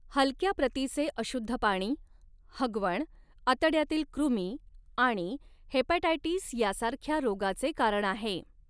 हलक्या प्रतीचे अशुद्ध पाणी, हगवण, आतड्यातील कृमी आणि हेपॅटायटिस यासारख्या रोगाचे कारण आहे.